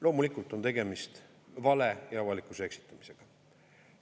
Loomulikult on tegemist vale ja avalikkuse eksitamisega.